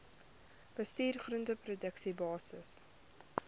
bestuur groenteproduksie basiese